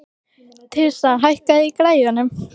Tirsa, hækkaðu í græjunum.